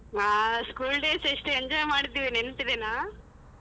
ಹಾ school days ಎಷ್ಟ್ enjoy ಮಾಡಿದ್ವಿ ನೆನ್ಪಿದೆನಾ?